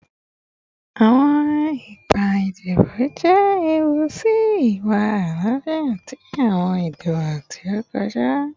Iwa-ipa idibo jẹ ewu si iwa alaafia ti awọn idibo ti o kọja